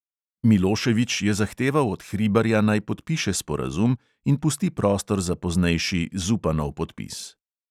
Miloševič je zahteval od hribarja, naj podpiše sporazum in pusti prostor za poznejši zupanov podpis.